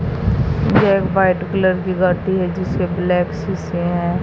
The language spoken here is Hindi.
ये एक व्हाइट कलर की गाड़ी है जिसके ब्लैक शीशे है।